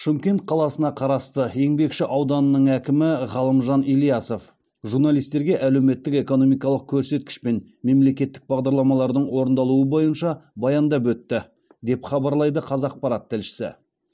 шымкент қаласына қарасты еңбекші ауданының әкімі ғалымжан ильясов журналистерге әлеуметтік экономикалық көрсеткіш пен мемлекеттік бағдарламалардың орындалуы бойынша баяндап өтті деп хабарлайды қазақпарат тілшісі